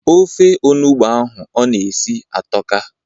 Ofe onugbo ahụ ọ na-esi atọka.